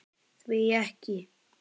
Hví ekki?